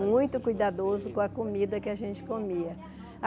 Muito cuidadoso com a comida que a gente comia.